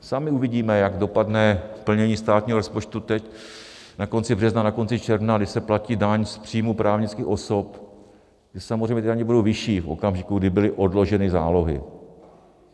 Sami uvidíme, jak dopadne plnění státního rozpočtu teď na konci března, na konci června, když se platí daň z příjmů právnických osob, kdy samozřejmě ty daně budou vyšší v okamžiku, kdy byly odloženy zálohy.